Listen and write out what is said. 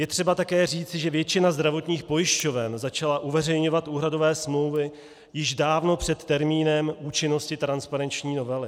Je třeba také říci, že většina zdravotních pojišťoven začala uveřejňovat úhradové smlouvy již dávno před termínem účinnosti transparenční novely.